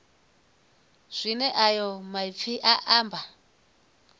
zwine ayo maipfi a amba